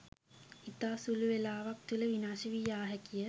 ඉතා සුලු වේලාවක් තුළ විනාශ වී යා හැකිය.